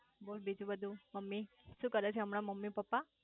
બોલ બીજું બધું મમ્મી શુ કરે છે હમણાં મમ્મી પપ્પા